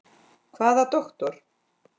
Hvaða doktor?